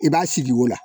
I b'a sigi o la